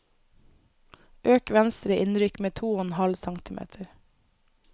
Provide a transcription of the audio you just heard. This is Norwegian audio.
Øk venstre innrykk med to og en halv centimeter